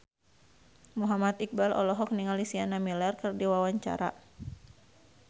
Muhammad Iqbal olohok ningali Sienna Miller keur diwawancara